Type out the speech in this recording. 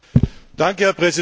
Herr Präsident!